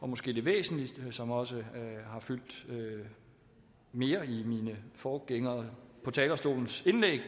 og måske det væsentligste som også har fyldt mere i mine forgængere på talerstolens indlæg